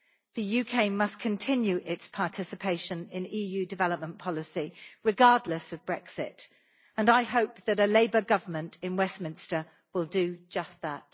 The UK must continue its participation in EU development policy regardless of Brexit, and I hope that a Labour Government in Westminster will do just that.